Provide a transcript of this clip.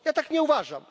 Ja tak nie uważam.